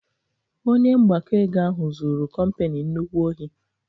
Onye mgbakọ ego ahụ zụrụ kompani nnukwu ohi